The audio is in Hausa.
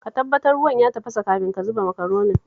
Ka tabbatar ruwan ya tafasa kafin ka zuba Makaronin